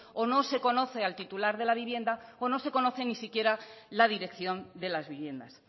o no se conoce al titular de la vivienda o no se conoce ni siquiera la dirección de las viviendas